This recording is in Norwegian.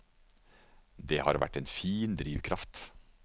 Det har vært en fin drivkraft.